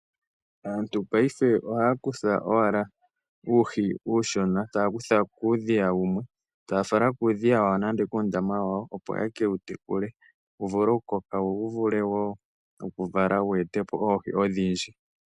Aantu paife ohaya kutha owala uuhi uushona taya kutha kuudhiya wumwe taya fala kuudhiya wawo nande kuundama wawo opo yeke u tekule wu vule okukoka, wo wu ete po wo oohi odhindji.